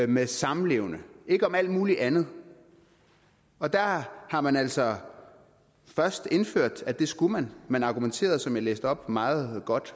med samlevende ikke om alt muligt andet og der har har man altså først indført at det skulle man man argumenterede som jeg læste op meget godt